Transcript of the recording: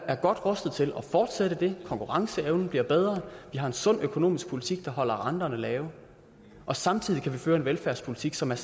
er godt rustet til at fortsætte det konkurrenceevnen bliver bedre vi har en sund økonomisk politik der holder renterne lave og samtidig kan vi føre en velfærdspolitik som er